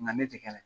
Nka ne tɛ kɛ dɛ